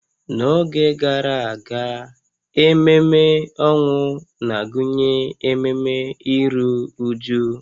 N'oge gara aga, ememe ọnwụ na-agụnye ememe iru újú